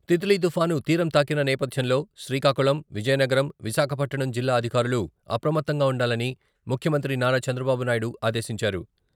తిల్లీ తుఫాను తీరం తాకిన నేపథ్యంలో శ్రీకాకుళం, విజయనగరం, విశాఖపట్టణం జిల్లా అధికారులు అప్రమత్తంగా ఉండాలని ముఖ్యమంత్రి నారా చంద్రబాబు నాయుడు ఆదేశించారు.